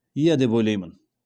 иә деп ойлаймын